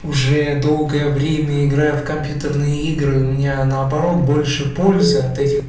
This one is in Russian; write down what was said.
уже долгое время играю в компьютерные игры у меня наоборот больше пользы от этих